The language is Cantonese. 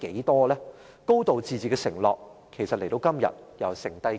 其實"高度自治"的承諾至今天還剩下多少？